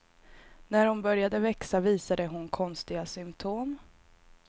När hon började växa visade hon konstiga symtom.